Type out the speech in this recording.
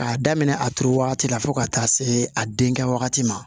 K'a daminɛ a turu wagati la fo ka taa se a denkɛ wagati ma